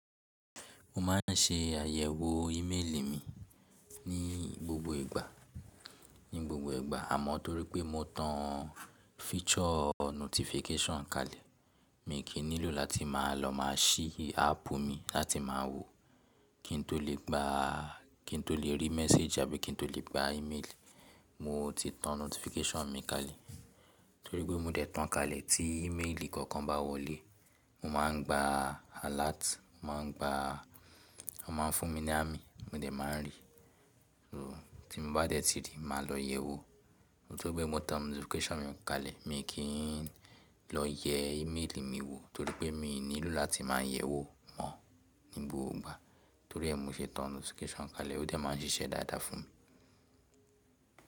Mo máa ń ṣe àyẹ̀wò íméelì mi ní gbogbo ìgbà, ní gbogbo ìgbà àmọ́ torí pé mo tan feature notification kalẹ̀. Mi kì í nílò láti máa lọ máa ṣí áápù mi láti máa wò kí n tó lè gba, kí n tó lè rí message àbí kí n tó lè gba ímeélì. Mo ti tan notification mi kalẹ̀ torí pé mo dẹ̀ tan kalẹ̀ tí íméelì kankan bá wọlé, mo máa ń gba alert, mo máa ń gba, wọ́n máa ń fún mi ní ami mo dẹ̀ máa ń rí i. Tí mo bá dẹ̀ ti rí i, màá lọ yẹ̀wò. Torí pé mo tan notification mi kalẹ̀, mi n kì í lọ yẹ íméelì mi wò torí pé mi ò nílò láti máa yẹ̀wò mo ní gbogbo ìgbà torí ẹ́ mo ṣe tan notification kalẹ̀ ó dẹ̀ máa ń ṣiṣẹ́ dáadáa fún mi.